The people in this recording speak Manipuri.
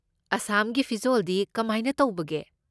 ꯑꯁꯥꯝꯒꯤ ꯐꯤꯖꯣꯜꯗꯤ ꯀꯃꯥꯏꯅ ꯇꯧꯕꯒꯦ?